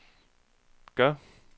gør